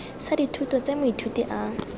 sa dithuto tse moithuti a